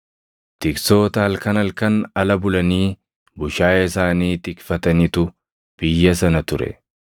Tiksoota halkan halkan ala bulanii bushaayee isaanii tikfatanitu biyya sana ture.